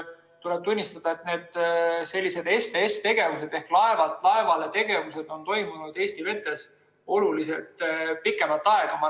Tuleb tunnistada, et sellised STS‑tegevused ehk laevalt-laevale-tegevused on toimunud Eesti vetes oluliselt pikemat aega.